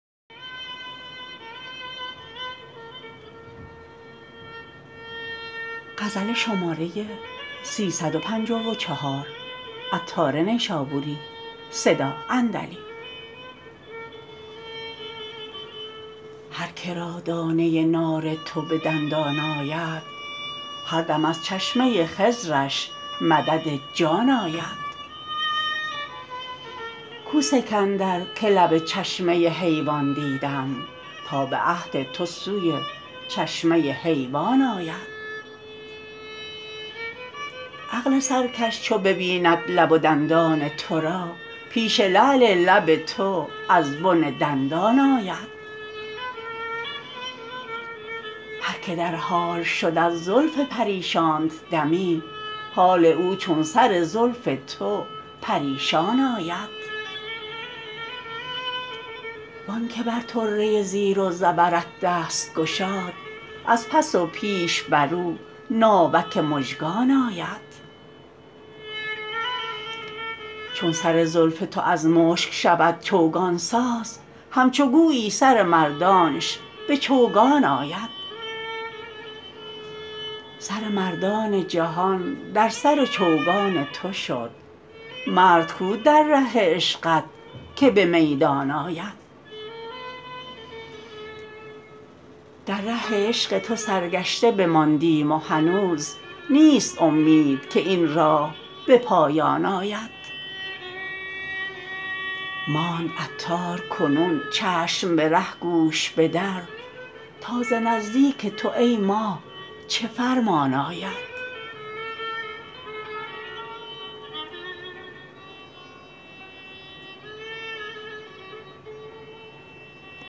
هر که را دانه نار تو به دندان آید هر دم از چشمه خضرش مدد جان آید کو سکندر که لب چشمه حیوان دیدم تا به عهد تو سوی چشمه حیوان آید عقل سرکش چو ببیند لب و دندان تو را پیش لعل لب تو از بن دندان آید هر که در حال شد از زلف پریشانت دمی حال او چون سر زلف تو پریشان آید وانکه بر طره زیر و زبرت دست گشاد از پس و پیش برو ناوک مژگان آید چون سر زلف تو از مشک شود چوگان ساز همچو گویی سر مردانش به چوگان آید سر مردان جهان در سر چوگان تو شد مرد کو در ره عشقت که به میدان آید در ره عشق تو سرگشته بماندیم و هنوز نیست امید که این راه به پایان آید ماند عطار کنون چشم به ره گوش به در تا ز نزدیک تو ای ماه چه فرمان آید